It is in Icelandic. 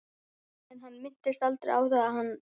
Til þess að anda ekki saman.